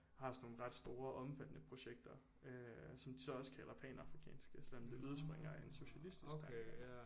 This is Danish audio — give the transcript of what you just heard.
Har sådan nogle ret store omfattende projekter øh som de så også kalder panafrikanske selvom det udspringer af en socialistisk tanke